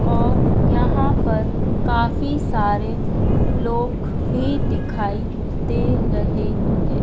और यहाँ पर काफी सारे लोग भी दिखाई दे रहे है।